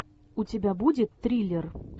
у тебя будет триллер